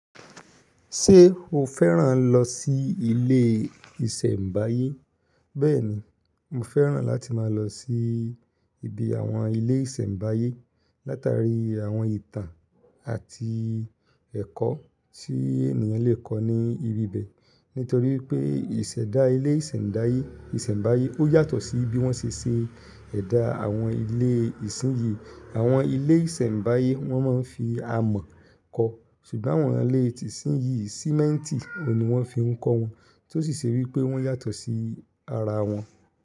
Ṣé o fẹ́ràn lọ sí ilé ìṣẹ̀mbáyé? Bẹ́ẹ̀ni, mo fẹ́ràn láti máa lọ sí ibi àwọn ilé ìṣẹ̀mbáyé látara àwọn ìtàn àti ẹ̀kọ́ tí ènìyàn lè kọ̀ ní ibi bẹ́ẹ̀. Nítorí pé ìṣẹ̀dá ilé ìṣẹ̀mdáyé ìṣẹ̀mbáyé ó yàtọ̀ sí bí wọ́n ṣe ṣẹ̀ ẹ̀dá àwọn ilé ìṣínyìí. Àwọn ilé ìṣẹ̀mbáyé wọ́n máa ń fi amọ̀ kọ́ ṣùgbọ́n àwọn ilé ti ìṣínyìí sìmẹ́ntì ni wọ́n fi ń kọ́ wọn. Tó sì ṣe wípé wọ́n yàtọ̀ sí ara wọn.